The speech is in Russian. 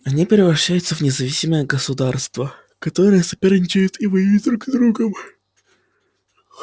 они превращаются в независимые городагосударства которые соперничают и воюют друг с другом